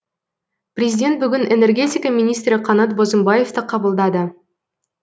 президент бүгін энергетика министрі қанат бозымбаевты қабылдады